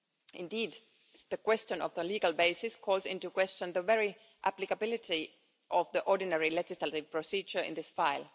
Indeed, the question of the legal basis calls into question the very applicability of the ordinary legislative procedure in this file.